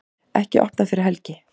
Ekki opnað fyrir helgi